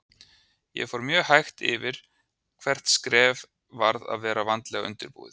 Ég fór mjög hægt yfir því hvert skref varð að vera vandlega undirbúið.